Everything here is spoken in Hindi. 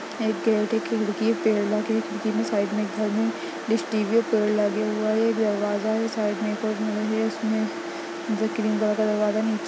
पेड़ लगे हैखिड़की के साइड मे एक घर है डिश टी_वी पेड़ लगे हुए है एक दरवाजा है साइड मे क्रीम कलर का दरवाजा है।